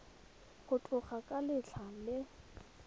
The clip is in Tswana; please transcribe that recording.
go tloga ka letlha le